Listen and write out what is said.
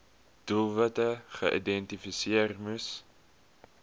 doelwitte geïdentifiseer moes